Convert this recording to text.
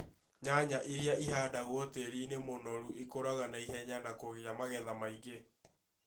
Nyanya iria ihandagwo tĩĩri-inĩ mũnorũ ĩkuraga naihenya na kugĩa magetha maingĩ